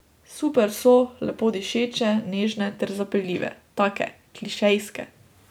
Super so, lepo dišeče, nežne ter zapeljive, take, klišejske.